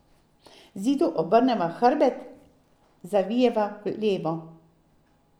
Zidu obrneva hrbet, zavijeva levo.